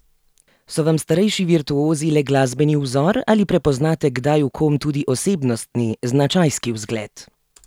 So vam starejši virtuozi le glasbeni vzor ali prepoznate kdaj v kom tudi osebnostni, značajski vzgled?